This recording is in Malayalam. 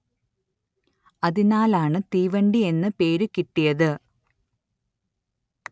അതിനാലാണ് തീവണ്ടി എന്ന പേരു കിട്ടിയത്